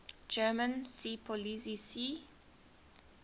german seepolizei sea